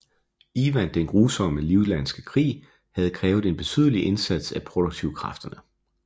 Ivan den Grusommes livlandske krig havde krævet en betydelig indsats af produktivkræfterne